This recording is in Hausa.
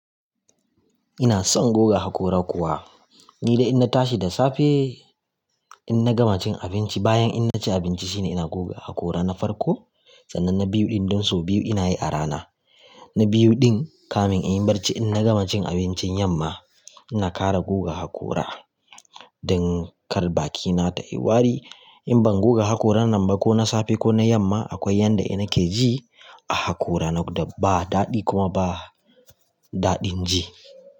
Ina son goga haƙora kuwa. Ni da in na tashi da safe in na gama cin abinci, bayan in na ci abinci shine ina goga haƙora na farko. Tsananin biyu ɗin don so biyu ina yi a rana. Na biyu ɗin kamin in yi barci in na gama cin abincin yamma ina ƙara goga haƙora don kar bakina ta yi wari. In ban goga haƙora nan ba ko na safe ko na yamma akwai yanda ina ke ji a haƙora na da ba daɗi kuma ba daɗin ji.